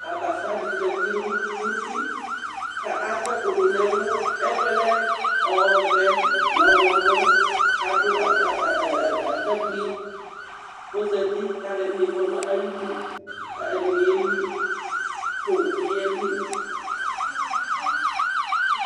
Abafa dɩ zati nʋ uti kʋ akɔ ɛkʋ dʋ nʋ ɛlʋ, ɛkʋ yɛ lɛ ɔvɛ nʋ ɔɣlɔmɔ kʋ adʋ ata ɛ ɛ atakpui kʋ ɔzati kʋ alʋɛdɩnɩ kɔ nʋ ayidu kʋ ɛdɩnɩ yeli kʋ owu bɩ yeli